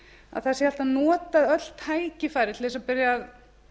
að það séu alltaf notuð öll tækifæri til þess að byrja